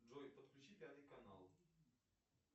джой подключи пятый канал